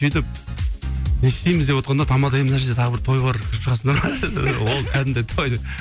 сөйтіп не істейміз деп отқанда тамада ей мына жерде тағы бір той бар кіріп шығасыңдар ма деді ол кәдімгі той деді